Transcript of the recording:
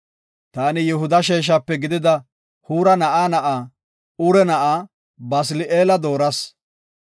“Taani Yihuda sheeshape gidida Huura na7aa na7aa, Ure na7aa, Basili7eela dooras.